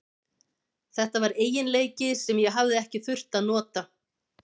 Þetta var eiginleiki sem ég hafði ekki þurft að nota.